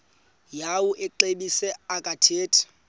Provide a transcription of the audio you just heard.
yawo amaxesibe akathethi